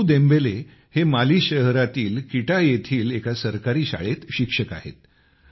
Seydou Dembele हे Mali शहरातील Kita येथील एका सरकारी शाळेत शिक्षक आहेत